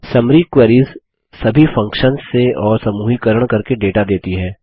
summary queries सभी functions से और समूहीकरण करके डेटा देती है